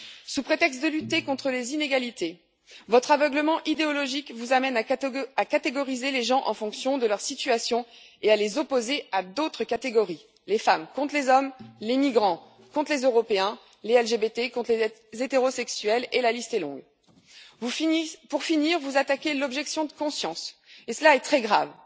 Sous prétexte de lutter contre les inégalités, votre aveuglement idéologique vous amène à catégoriser les gens en fonction de leur situation et à les opposer à d'autres catégories les femmes contre les hommes, les migrants contre les Européens, les LGBTI contre les hétérosexuels, et la liste est longue. Enfin, vous attaquez l'objection de conscience, et cela est très grave.